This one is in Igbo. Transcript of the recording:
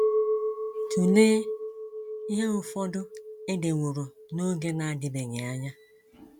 Tụlee ihe ụfọdụ e deworo n’oge na - adịbeghị anya: